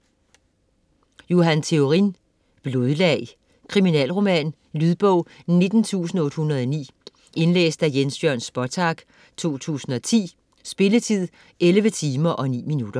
Theorin, Johan: Blodlag Kriminalroman. Lydbog 19809 Indlæst af Jens Jørn Spottag, 2010. Spilletid: 11 timer, 9 minutter.